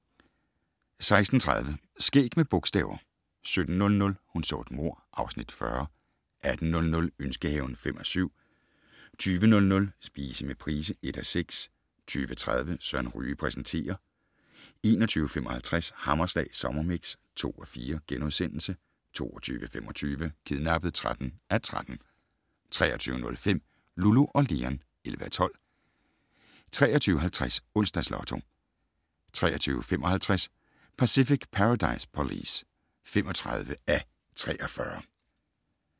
16:30: Skæg med bogstaver 17:00: Hun så et mord (Afs. 40) 18:00: Ønskehaven (5:7) 20:00: Spise med Price (1:6) 20:30: Søren Ryge præsenterer 21:55: Hammerslag Sommermix (2:4)* 22:25: Kidnappet (13:13) 23:05: Lulu og Leon (11:12) 23:50: Onsdags Lotto 23:55: Pacific Paradise Police (35:43)